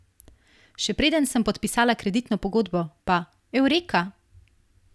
Še preden sem podpisala kreditno pogodbo, pa, eureka!